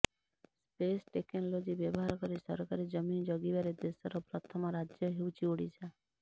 space technology ବ୍ୟବହାର କରି ସରକାରୀ ଜମି ଜଗିବାରେ ଦେଶର ପ୍ରଥମ ରାଜ୍ୟ ହେଉଛି ଓଡ଼ିଶା